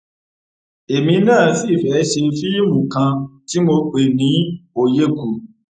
èmi náà sì fẹẹ ṣe fíìmù kan tí mo pè ní òyekù